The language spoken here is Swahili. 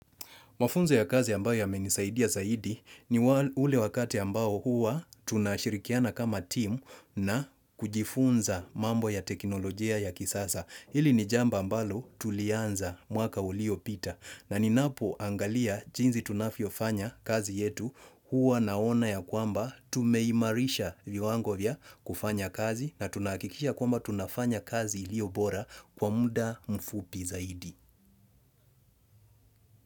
Mafunzo ya kazi ambayo yamenisaidia zaidi ni ule wakati ambao huwa tunashirikiana kama team na kujifunza mambo ya teknolojia ya kisasa. Hili ni jambo ambalo tulianza mwaka uliopita na ninapoangalia jinsi tunavyofanya kazi yetu huwa naona ya kwamba tumeimarisha viwango vya kufanya kazi na tunahakikisha kwamba tunafanya kazi iliobora kwa mda mfupi zaidi.